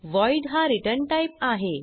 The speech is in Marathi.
व्हॉइड हा रिटर्न टाइप आहे